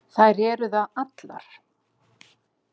Þær eru það allar.